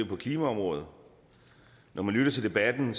på klimaområdet når man lytter til debatten